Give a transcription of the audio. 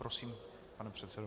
Prosím, pane předsedo.